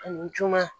Ani juma